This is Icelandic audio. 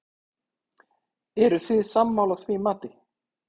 Eruð þið sammála því mati?